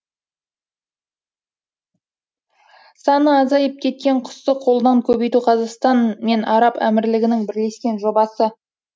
саны азайып кеткен құсты қолдан көбейту қазақстан мен араб әмірлігінің бірлескен жобасы